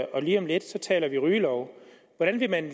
og lige om lidt taler vi om rygelov hvordan vil man